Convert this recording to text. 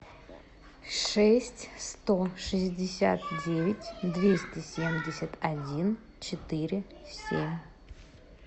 шесть сто шестьдесят девять двести семьдесят один четыре семь